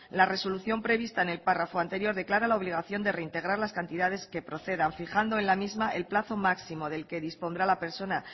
la resolución prevista en el párrafo anterior declara la obligación de reintegrar las cantidades que procedan fijando en la misma el plazo máximo del que dispondrá la persona